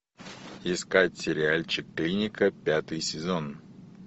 искать сериальчик клиника пятый сезон